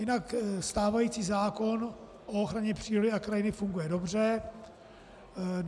Jinak stávající zákon o ochraně přírody a krajiny funguje dobře.